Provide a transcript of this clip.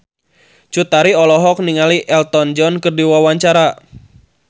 Cut Tari olohok ningali Elton John keur diwawancara